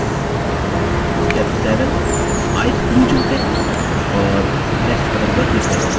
step 7 ice blue चुनते हैं और next button पर click करते हैं